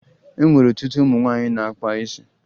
E nwere ọtụtụ ụmụ nwaanyị na-akpa isi